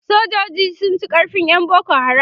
sojoji sun ci karfin ƴan boko haram